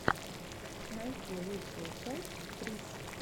найти лучшую часть трисс